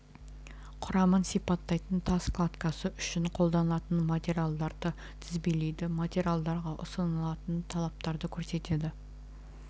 құрамын сипаттайтын тас кладкасы үшін қолданылатын материалдарды тізбелейді материалдарға ұсынылатын талаптарды көрсетеді